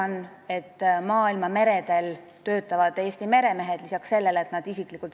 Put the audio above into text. Nii et maailmameredel töötavad Eesti meremehed saavad tulumaksu erirežiimi.